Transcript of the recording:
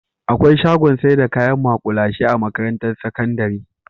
Akwai shagon saida kayan ma'kulashe a makarantar sakandari